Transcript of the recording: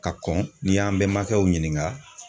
Ka kɔn ni y'an bɛnmakɛw ɲininka